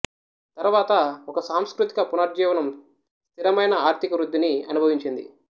తరువాత ఒక సాంస్కృతిక పునరుజ్జీవనం స్థిరమైన ఆర్థిక వృద్ధిని అనుభవించింది